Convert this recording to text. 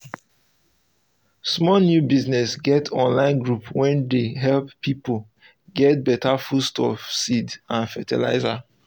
small new business get online group wey dey help person get better foodstuffs seeds and fertilizer